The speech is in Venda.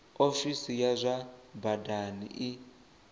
ofisi ya zwa badani i